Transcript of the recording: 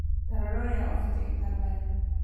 tarora ũrĩa ohete gĩtabaya